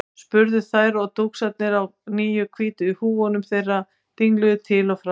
spurðu þær og dúskarnir á nýju hvítu húfunum þeirra dingluðu til og frá.